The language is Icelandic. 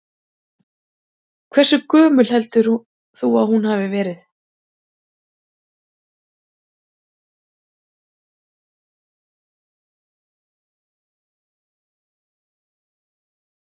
Sighvatur: Hversu gömul heldur þú að hún hafi verið?